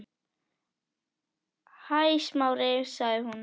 Hæ, Smári- sagði hún.